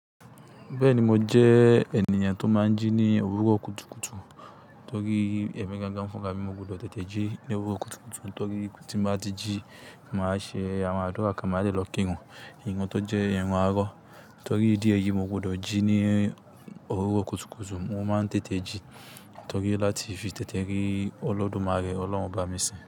Bẹ́ẹ̀ni, mo jẹ́ ènìyàn tó máa ń jí ní òwúrọ̀ kùtùkùtù torí ẹ̀mí gangan fúnra mii mo gbọdọ̀ tètè jí ní òwúrọ̀ kùtùkùtù torí tí n bá ti jí, màá ṣe àwọn àdúrà ká máà de lọ kírun nnkan tó jẹ́ ìrun àárọ̀ torí ìdí ẹ̀yí mo gbọdọ̀ jí ní òwúrọ̀ kùtùkùtù. Mo máa ń tètè jí torí láti fi tètè rí Olódùmarè, Ọlọ́run Ọba mi sìn.